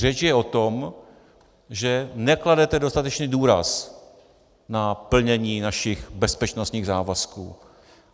Řeč je o tom, že nekladete dostatečný důraz na plnění našich bezpečnostních závazků.